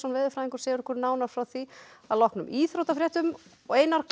veðurfræðingur segir okkur nánar frá því að loknum íþróttum einar hvað